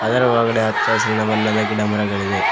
ಅದರ ಒಳಗಡೆ ಹಚ್ಚಹಸಿರಿನ ಬಣ್ಣದ ಗಿಡಮರಗಳಿವೆ.